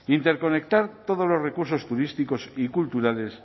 interconectar todos los recursos turísticos y culturales